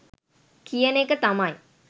කියන එක තමයි.